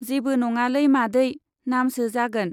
जेबो नङालै मादै, नामसो जागोन।